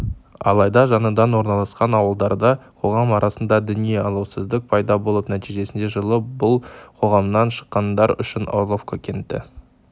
алайда жаңадан орналасқан ауылдарда қоғам арасында діни алауыздық пайда болып нәтижесінде жылы бұл қоғамнан шыққандар үшін орловка кенті